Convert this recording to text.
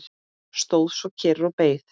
Stóð svo kyrr og beið.